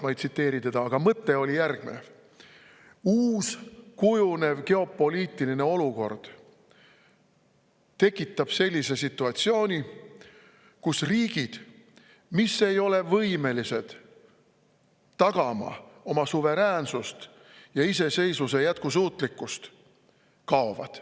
Ma ei tsiteeri teda sõna-sõnalt, aga mõte oli järgmine: uus kujunev geopoliitiline olukord tekitab sellise situatsiooni, kus riigid, mis ei ole võimelised tagama oma suveräänsust ja iseseisvuse jätkusuutlikkust, kaovad.